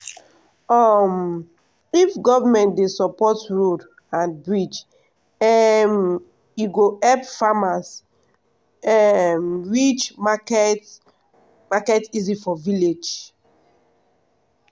um if government dey support road and bridge um e go help farmers um reach market market easy for village.